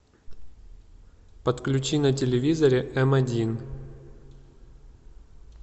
подключи на телевизоре м один